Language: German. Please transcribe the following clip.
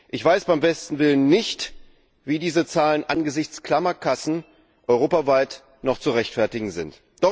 Ich weiß beim besten Willen nicht, wie diese Zahlen angesichts klammer Kassen europaweit noch zu rechtfertigen sind.